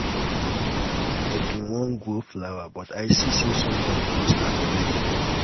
i bin wan grow flower but i see say somebody don start already.